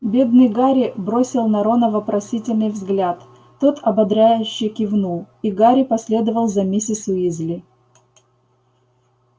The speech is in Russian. бедный гарри бросил на рона вопросительный взгляд тот ободряюще кивнул и гарри последовал за миссис уизли